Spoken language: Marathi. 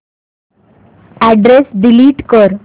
अॅड्रेस डिलीट कर